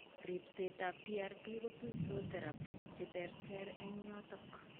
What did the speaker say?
Ripsetab prp kotuitos therapies cheterter eng' yotok